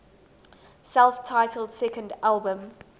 self titled second album